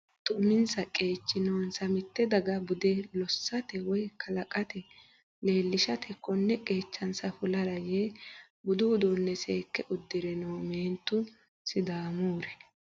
Meentu uminsa qeechi noonsa mite daga bude lossate woyi kalqete leelishate kone qeechansa fulara yee budu uduune seekke uddire no meentu sidaamuri.